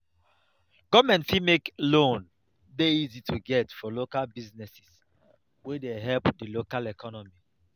government fit make loan dey easy to get for local business wey dey help di local economy